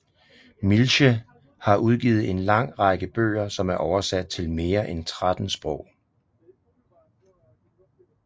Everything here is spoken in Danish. Mielche har udgivet en lang række bøger som er oversat til mere end 13 sprog